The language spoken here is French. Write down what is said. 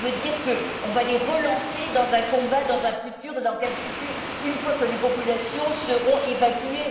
Cela veut en effet dire qu'on va les relancer dans un combat dans un futur et dans quel futur une fois que les populations seront évacuées.